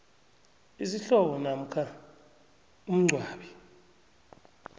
isihlobo namkha umngcwabi